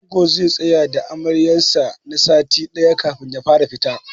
Angon zai tsaya da Amaryar sa na sati ɗaya kafin ya fara fita.